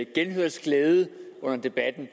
genhørsglæde under debatten